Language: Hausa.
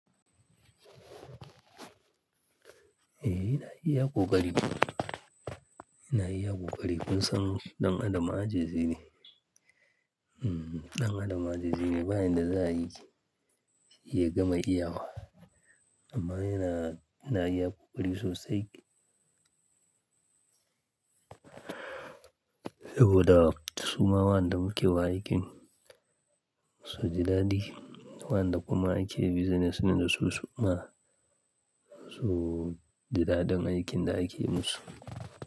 Eh, ina iya ƙoƙari. Ina iya ƙoƙari kusan ɗan adama ajizi ne. Hmm, ɗan adam ajizi ne ba inda za yi ya gama iyawa. Amma yana, yana iya ƙoƙari sosai. Saboda su ma waɗanda muke wa aikin su ji daɗi. Waɗanda kuma ake business ne da su su ma su ji daɗin aikin da ake musu.